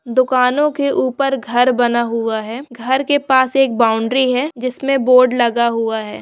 दुकानों के ऊपर घर बना हुआ है घर के पास एक बाउंड्री है जिसमे बोर्ड लगा हुआ है।